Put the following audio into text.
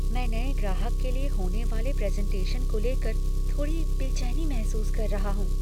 मैं नए ग्राहक के लिए होने वाले प्रेजेन्टेशन को लेकर थोड़ी बेचैनी महसूस कर रहा हूँ।